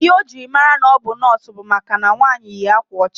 Ihe ojiri mara na ọbu nọọsụ bu maka na nwaanyi yi akwa ocha.